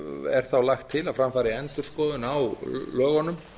er þá lagt til að fram fari endurskoðun á lögunum